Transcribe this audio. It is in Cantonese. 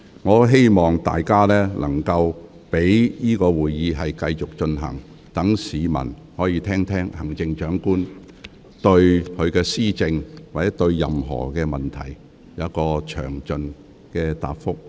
我很希望會議能夠繼續進行，讓市民聆聽行政長官就其施政或其他問題作出的詳盡答覆。